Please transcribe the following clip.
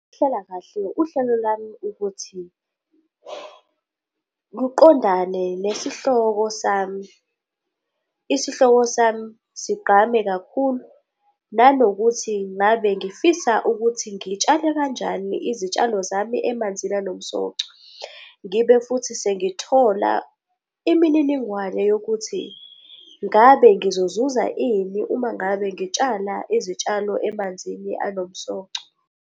Ukuhlela kahle uhlelo lwami ukuthi luqondane nesihloko sami, isihloko sami sigqame kakhulu. Nanokuthi ngabe ngifisa ukuthi ngitshale kanjani izitshalo zami emanzini anomsoco. Ngibe futhi sengithola imininingwane yokuthi ngabe ngizozuza ini uma ngabe ngitshala izitshalo emanzini anomsoco.